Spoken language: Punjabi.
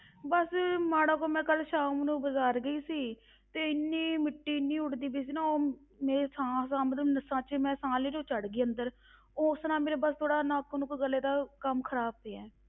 ਬਸ ਮਾੜਾ ਕੁ ਮੈਂ ਕੱਲ੍ਹ ਸ਼ਾਮ ਨੂੰ ਬਾਜ਼ਾਰ ਗਈ ਸੀ, ਤੇ ਇੰਨੀ ਮਿੱਟੀ ਇੰਨੀ ਉੱਡਦੀ ਪਈ ਸੀ ਨਾ ਉਹ ਮੇਰੇ ਸਾਹ ਸਾਹ ਮਤਲਬ ਨਸ਼ਾਂ ਵਿੱਚ ਮੈਂ ਸਾਹ ਲੈ ਰਹੀ, ਉਹ ਚੜ ਗਈ ਅੰਦਰ ਉਸ ਤਰ੍ਹਾਂ ਮੇਰੇ ਬਸ ਥੋੜ੍ਹਾ ਨੱਕ ਨੁੱਕ ਗਲੇ ਦਾ ਕੰਮ ਖ਼ਰਾਬ ਪਿਆ ਹੈ।